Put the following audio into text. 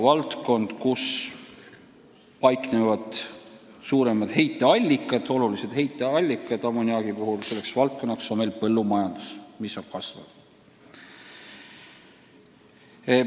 Valdkond, kus on tegu suuremate ammoniaagiheitmete allikatega, on muidugi põllumajandus, kus tootmine kasvab.